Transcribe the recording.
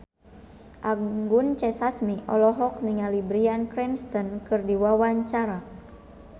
Anggun C. Sasmi olohok ningali Bryan Cranston keur diwawancara